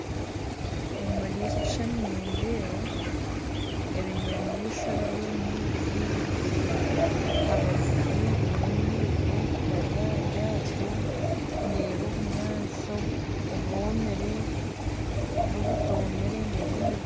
Omuri eki ekishushani nindeeba ebinyamaishwa biri omumaizi ndeeba abazihi biine emyiigo bari aharyato ndeeba obunyantsi obwomire n'obutomire ndeeba emiti